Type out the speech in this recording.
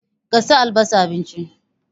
Ka sa albasa a abincin!